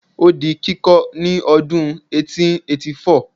o di kiko ni odun eighteen eighty four